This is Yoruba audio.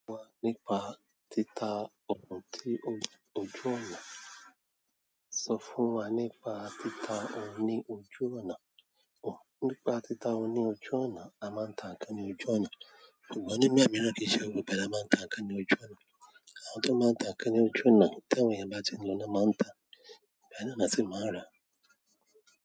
Sọ fún wa nípa títa ohun ti ojú ọ̀nà. Sọ fún wa nípa títa ohun ní ojú ọ̀nà. Ohun nípa títa ohun ní ojú ọ̀nà, a máa ń ta nǹkan ní ojú ọ̀nà. Ṣùgbọ́n nígbà miran kii ṣe gbogbo ìgbà la máa ń ta nǹkan ní ojú ọ̀nà. Àwọn tó máa ń ta nǹkan ní ojú ọ̀nà, tí àwọn eyan bá tin lọ ni wọ́n á máa ń ta, awa náà la sì máa ń rà.